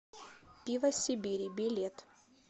пиво сибири билет